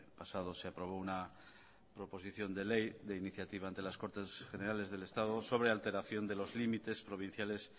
pasado se aprobó una proposición de ley de iniciativa ante las cortes generales del estado sobre alteración de los límites provinciales